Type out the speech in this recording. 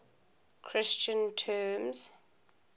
christian terms